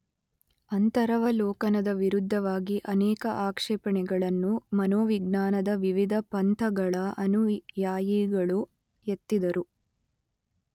ಅಂತರವಲೋಕನದ ವಿರುದ್ಧವಾಗಿ ಅನೇಕ ಆಕ್ಷೇಪಣೆಗಳನ್ನು ಮನೋವಿಜ್ಞಾನದ ವಿವಿಧ ಪಂಥಗಳ ಅನುಯಾಯಿಗಳು ಎತ್ತಿದರು.